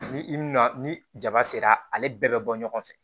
Ni i na ni jaba sera ale bɛɛ bɛ bɔ ɲɔgɔn fɛ